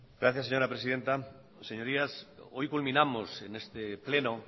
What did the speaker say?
gracias señora presidenta señorías hoy culminamos en este pleno